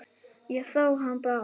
Ég sá hann Bárð.